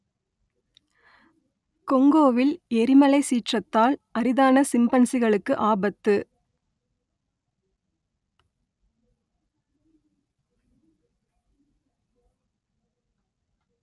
கொங்கோவில் எரிமலை சீற்றத்தால் அரிதான சிம்பன்சிகளுக்கு ஆபத்து